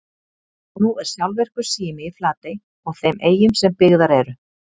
Nú er sjálfvirkur sími í Flatey og þeim eyjum sem byggðar eru.